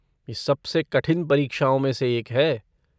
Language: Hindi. ये सबसे कठिन परीक्षाओं में से एक है।